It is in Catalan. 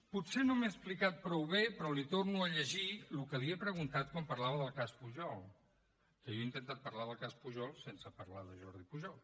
potser no m’he explicat prou bé però li torno a llegir el que li he preguntat quan parlava del cas pujol que jo he intentat parlar del cas pujol sense parlar de jordi pujol